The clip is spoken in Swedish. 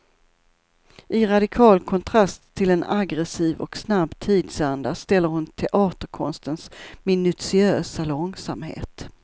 I radikal kontrast till en aggressiv och snabb tidsanda ställer hon teaterkonstens minutiösa långsamhet.